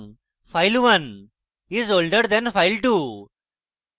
এবং file1 is older than file2